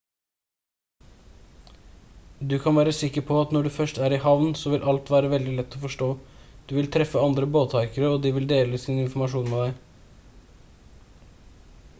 du kan være sikker på at når du først er i havn så vil alt være veldig lett å forstå du vil treffe andre båthaikere og de vil dele sin informasjon med deg